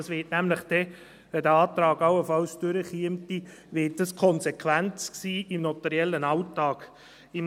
Das wird nämlich, wenn der Antrag allenfalls durchkäme, die Konsequenz im notariellen Alltag sein.